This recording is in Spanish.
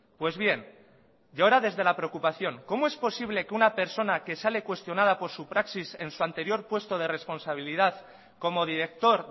pues bien y ahora desde la preocupación cómo es posible que una persona que sale cuestionada por su praxis en su anterior puesto de responsabilidad como director